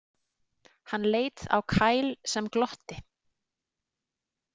Hann leit á Kyle sem glotti.